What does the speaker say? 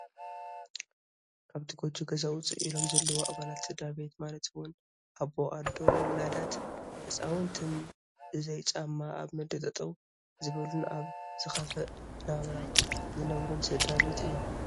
ካብቲ ጎጆ ገዛ ውፅእ ኢሎም ዘለዉ ኣባላት ስድራ ቤት ማለት እውን ኣቦ፣ ኣዶ ውላዳት ህፃውንትን በዘይ ጫማ ኣብ ምድሪ ጠጠው ዝበሉን ኣብ ዝኸፍአ ናብራ ዝነብሩን ስድራ ቤት እዮም፡፡